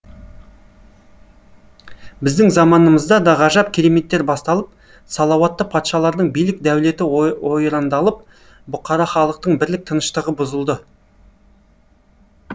біздің заманымызда да ғажап кереметтер басталып салауатты патшалардың билік дәулеті ойрандалып бұқара халықтың бірлік тыныштығы бұзылды